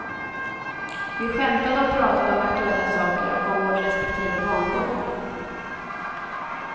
Vi skämtade och pratade om aktuella saker och om vår respektive barndom.